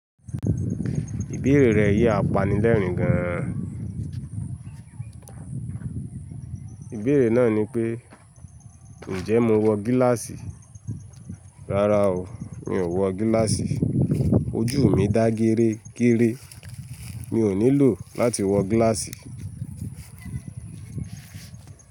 Ìbéèrè rẹ̀ yi àpanilẹ́rìn gan. Ìbéèrè náà ni pé, "Ǹjẹ́ mo wọ gíláàsì?" Rárá o, mi ò wọ gíláàsì. Ojú mi dá géré géré, mi ò nílò láti wọ gíláàsì.